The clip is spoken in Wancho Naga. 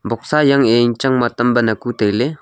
boxa yang e yang chang ba tamban aku tailey.